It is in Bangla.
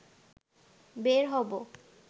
বের হবো